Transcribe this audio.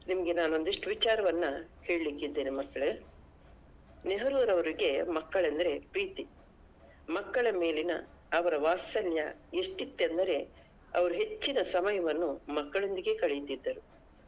ನಿಮ್ಗೆ ನಾನ್ ಒಂದಿಷ್ಟು ವಿಚಾರವನ್ನ ಹೇಳಲಿಕ್ಕಿದ್ದೇನೆ ಮಕ್ಕಳೇ ನೆಹರೂರವರಿಗೆ ಮಕ್ಕಳೆಂದರೆ ಪ್ರೀತಿ ಮಕ್ಕಳ ಮೇಲಿನ ಅವರ ವಾತ್ಸಲ್ಯ ಎಷ್ಟಿತ್ತೆಂದರೆ ಅವರು ಹೆಚ್ಚಿನ ಸಮಯವನ್ನು ಮಕ್ಕಳೊಂದಿಗೆ ಕಳೆಯುತ್ತಿದ್ದರು.